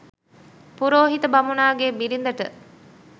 පුරෝහිත බමුණාගේ බිරිඳට